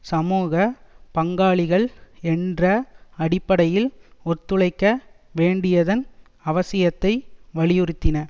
சமூக பங்காளிகள் என்ற அடிப்படையில் ஒத்துழைக்க வேண்டியதன் அவசியத்தை வலியுறுத்தின